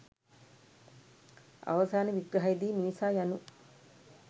අවසාන විග්‍රහයේදී මිනිසා යනු